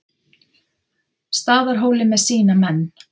Staðarhóli með sína menn.